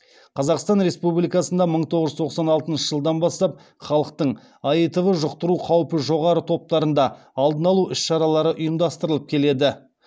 қазақстан республикасында мың тоғыз жүз тоқсан алтыншы жылдан бастап халықтың аитв жұқтыру қаупі жоғары топтарында алдын алу іс шаралары ұйымдастырылып келеді